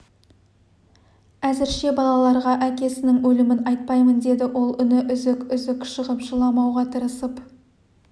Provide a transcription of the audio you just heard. әзірше балаларға әкесінің өлімін айтпаймын деді ол үні үзік үзік шығып жыламауға тырысып